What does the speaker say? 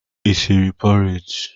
Ị siri pọreji?